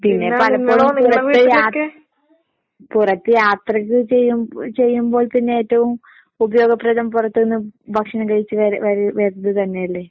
പിന്നെ പലപ്പോഴും പുറത്ത് യാ പുറത്ത് യാത്രയൊക്കൊ ചെയ്യും ഉം ചെയ്യുമ്പോൾ പിന്നേറ്റവും ഉപയോഗപ്രദം പുറത്ത് നിന്ന് ഭക്ഷണം കഴിച്ച് വര വര വരല് തന്നെയല്ലേ?